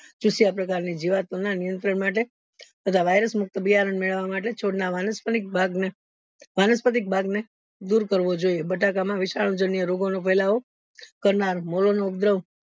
ચૂસ્યા પ્રકારોની જીવતો ના નિયંત્રણ માટે તથા virus મુક્ત બિયારણ મેળવવા માટે છોડ ના વાનાસ્પનીક ભાગ ને વાનસ્પતિક ભાગ ને દુર કરવો જોઈએ બટાકા માં વિશાલ જાન્ય રોગો નો ફેલાવો કરનાર નો ઉપદ્રવ